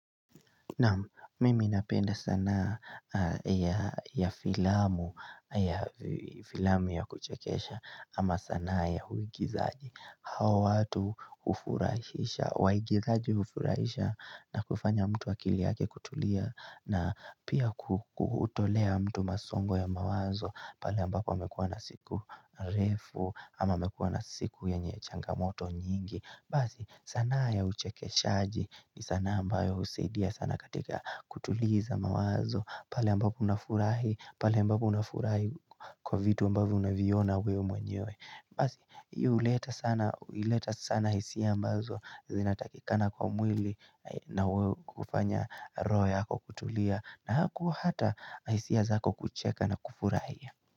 Nawm mimi ninapenda sana ya filamu filamu ya kuchekesha ama sanaa ya uigizaji hao watu hufurahisha, waigizaji hufurahisha na kufanya mtu akili yake kutulia na pia kutolea mtu masongo ya mawazo pale ambapo amekuwa na siku refu ama amekuwa na siku yenye changamoto nyingi. Basi sanaa ya uchekeshaji ni sanaa ambayo husidia sana katika kutuliza mawazo. Pale ambapo unafurahi, pale ambapo unafurahi kwa vitu ambavyo unaviona wewe mwenyewe. Basi hii huleta sana, huleta sana hisia ambazo zinatakikana kwa mwili na wewe kufanya roho yako hako kutulia na huku hata hisia zako kucheka na kufurahia.